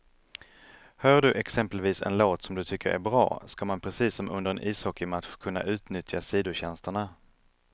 Hör du exempelvis en låt som du tycker är bra, ska man precis som under en ishockeymatch kunna utnyttja sidotjänsterna.